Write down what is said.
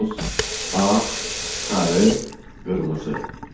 Boz, ağ, sarı, qırmızı.